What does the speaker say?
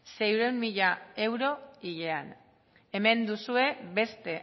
seiehun mila euro hilean hemen duzue beste